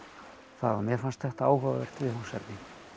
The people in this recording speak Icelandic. það mér fannst þetta áhugavert viðfangsefni